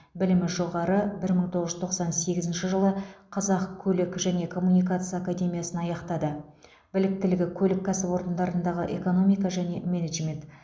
білімі жоғары бір мың тоғыз жүз тоқсан сегізінші жылы қазақ көлік және коммуникация академиясын аяқтады біліктігі көлік кәсіпорындарындағы экономика және менеджмент